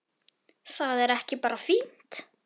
Er það ekki bara fínt?